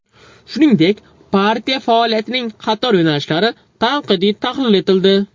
Shuningdek, partiya faoliyatining qator yo‘nalishlari tanqidiy tahlil etildi.